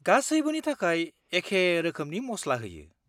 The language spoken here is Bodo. -गासैबोनि थाखाय एखे रोखोमनि मस्ला होयो।